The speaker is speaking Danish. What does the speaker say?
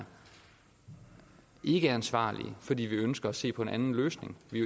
ikkeansvarlige fordi vi ønsker at se på en anden løsning vi